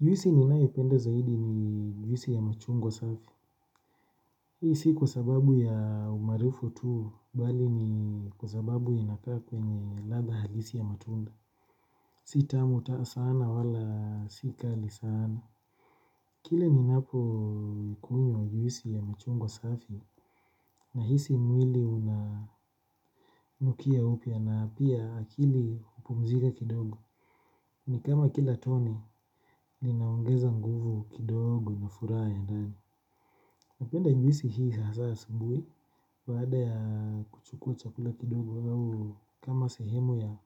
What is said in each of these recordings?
Juisi ninayoipenda zaidi ni juisi ya machungwa safi. Hii si kwa sababu ya umaarufu tu, bali ni kwa sababu inakaa kwenye ladha halisi ya matunda. Si tamu hata sana wala si kali sana. Kile ninapoikunywa juisi ya machungwa safi, nahisi mwili unanukia upya na pia akili hupumzika kidogo. Ni kama kila tone linaongeza nguvu kidogo na furaha ya ndani. Napenda juisi hii hasa asubuhi baada ya kuchukua chakula kidogo au kama sehemu ya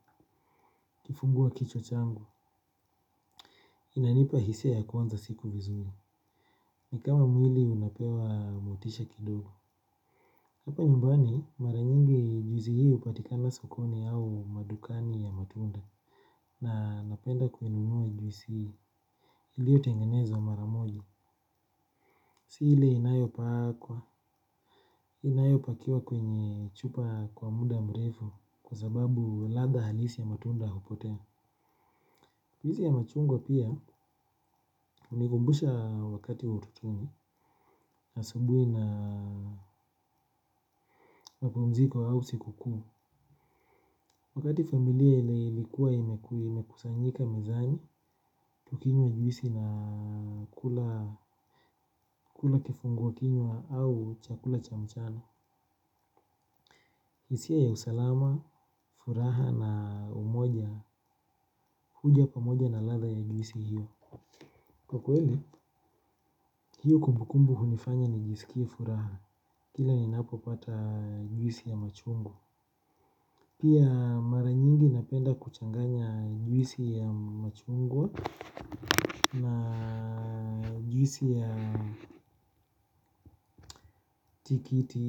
kifungua kichwa changu. Inanipa hisia ya kuanza siku vizuri, ni kama mwili unapewa motisha kidogo. Hapa nyumbani mara nyingi juisi hii hupatikana sokoni au madukani ya matunda na napenda kuinunua juisi hii iliyotengenezwa mara moja. Si ile inayopakwa, inayopakiwa kwenye chupa kwa muda mrefu kwa sababu ladha halisi ya matunda hupotea. Juisi ya machungwa pia hunikumbusha wakati utotoni, na asubuhi na mapumziko au sikukuu. Wakati familia ilikuwa imekuwa imekusanyika mezani, tukinywa juisi na kula kifungua kinywa au chakula cha mchana. Hisia ya usalama, furaha na umoja, huja pamoja na ladha ya juisi hiyo. Kwa kweli, hiyo kumbukumbu hunifanya nijisikie furaha. Kila ninapopata juisi ya machungwa. Pia mara nyingi napenda kuchanganya juisi ya machungwa na juisi ya tikiti,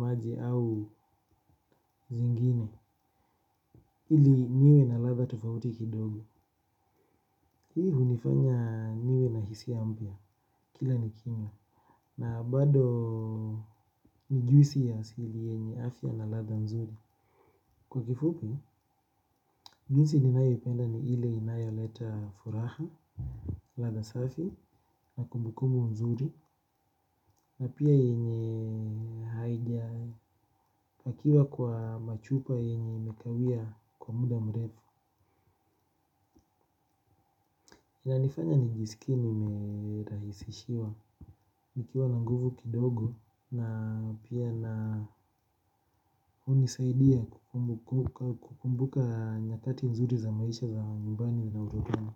maji au zingine ili niwe na ladha tofauti kidogo. Hii hunifanya niwe na hisia mpya kila ni kimia, na bado ni juisi ya asili yenye afya na ladha nzuri. Kwa kifupi, juisi ninayoipenda ni ile inayoleta furaha, ladha safi, na kumbukumbu nzuri, na pia yenye haijapakiwa kwa machupa yenye imekawia kwa muda mrefu. Inanifanya nijisikie nimerahisishiwa nikiwa na nguvu kidogo na pia na hunisaidia kukumbuka nyakati nzuri za maisha za nyumbani na utotoni.